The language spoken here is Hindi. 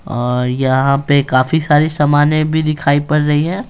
और यहाँ पे काफी सारी सामानें भी दिखाई पड़ रही है।